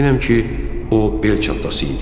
Əminəm ki, o bel çantası idi.